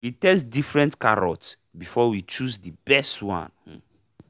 we test different carrot before we chose the best one um